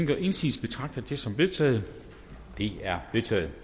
gør indsigelse betragter jeg det som vedtaget det er vedtaget